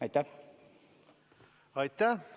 Aitäh!